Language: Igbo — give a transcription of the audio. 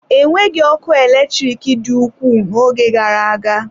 Enweghị ọkụ eletrik dị ukwuu n'oge gara aga.